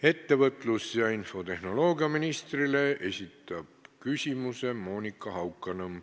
Ettevõtlus- ja infotehnoloogiaministrile esitab küsimuse Monika Haukanõmm.